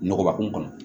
Nɔgɔba kun kɔnɔ